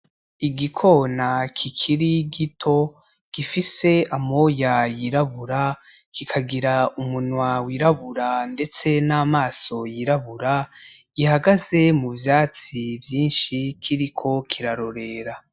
Igikona kikiri gito gifise amoya y'irabura kikagira umunwa w'irabura ndetse n'amaso y'irabura gihagaze mu vyatsi vyinshi kiriko kirarorera .